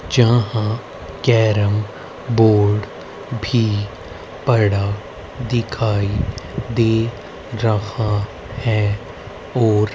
जहां carrom board भी पड़ा दिखाई दे रहा है और--